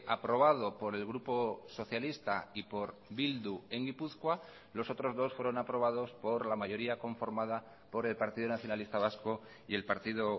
aprobado por el grupo socialista y por bildu en gipuzkoa los otros dos fueron aprobados por la mayoría conformada por el partido nacionalista vasco y el partido